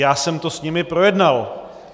Já jsem to s nimi projednal.